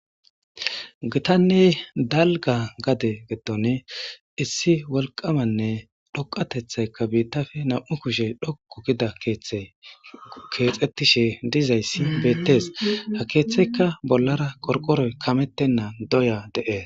Gitanney dalga gade geddone issi wolqamanne dhoqatethaykka biittafe nam'u kushe dhoku gida keeththe keexettishe dizayssi beettes ha keeththeykka bollara qorqoroy kamettenna doya de'ees.